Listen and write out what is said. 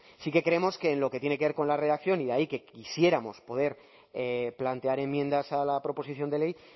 sí que creemos que en lo que tiene que ver con la redacción y de ahí que quisiéramos poder plantear enmiendas a la proposición de ley